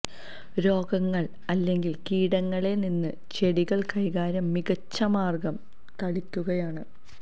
രോഗങ്ങൾ അല്ലെങ്കിൽ കീടങ്ങളെ നിന്ന് ചെടികൾ കൈകാര്യം മികച്ച മാർഗം തളിക്കുകയാണ്